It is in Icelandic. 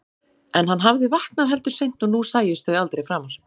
En hann hafði vaknað heldur seint og nú sæjust þau aldrei framar.